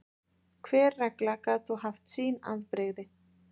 Hver regla gat þó haft sín afbrigði.